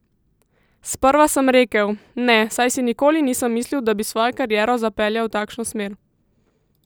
Sprva sem rekel: 'Ne', saj si nikoli nisem mislil, da bi svojo kariero zapeljal v takšno smer.